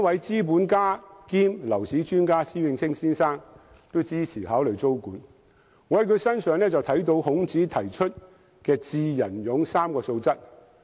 資本家兼樓市專家施永青先生都支持考慮租管，我在他身上看到孔子提出的"智、仁、勇 "3 種素質。